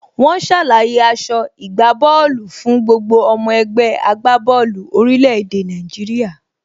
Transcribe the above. Wọ́n ṣàlàyé aso ìgbábóòlù fún gbogbo ọmọ ẹgbẹ́ agbá bọ́ọ̀lù orílẹ̀ èdè Nàìjíríà.